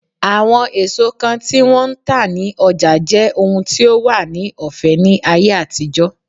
Àwọn èso kan tí wón ń tà ní ọjà jẹ́ ohun tí ó wà ní ọ̀fẹ́ ní ayé àtijọ́.